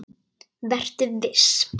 Vertu viss.